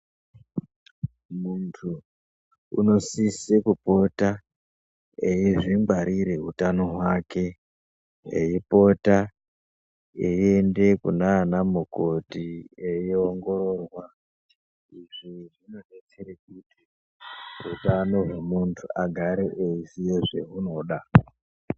Muntu unosise kupota eizvingwarire utano hwake eipota eiende kunaana mukoti eiongororwa izvi zvinodetsere kuti utano hwemuntu agare eiziye zveunoda.